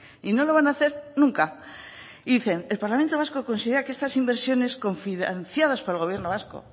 y no lo van a hacer nunca y dicen el parlamento vasco considera que estas inversiones cofinanciadas por el gobierno vasco